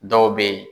Dɔw bɛ yen